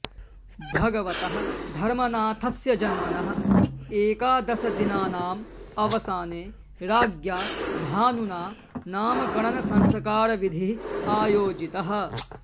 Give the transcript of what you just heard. भगवतः धर्मनाथस्य जन्मनः एकादशदिनानाम् अवसाने राज्ञा भानुना नामकरणसंस्कारविधिः आयोजितः